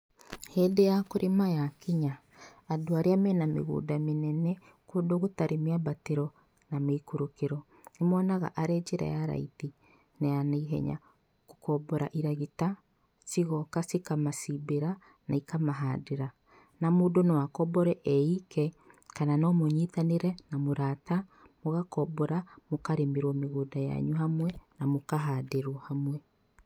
Hĩndĩ ya kũrĩma yakinya, andũ arĩa mena mĩgũnda mĩnene, kũndũ gũtarĩ mĩambatĩro na mĩikũrũkĩro, nĩ monaga arĩ njĩra ya raithi na ya naihenya, gũkombora iragita cigoka cikamacimbĩra na ikamahandĩra, na mũndũ no akombore eike kana no mũnyitanĩre na mũrata, mũgakombora, mũkarĩmĩrwo mĩgunda yanyu hamwe, na mũkahandĩrwo hamwe.